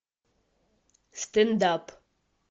стендап